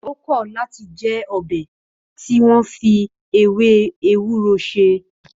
Ó kọ̀ láti jẹ ọbẹ̀ tí wọn fi ewé ewúro ṣe